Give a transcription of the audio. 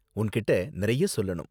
உன்கிட்டே நிறைய சொல்லணும்.